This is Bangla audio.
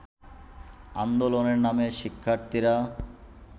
আন্দোলনে নামে শিক্ষার্থীরা